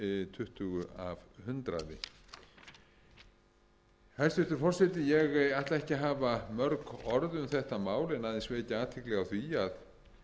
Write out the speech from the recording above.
tuttugu af hundraði hæstvirtur forseti ég ætla ekki að hafa mörg orð um þetta mál en aðeins vekja athygli á því að